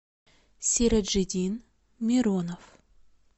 сироджидин миронов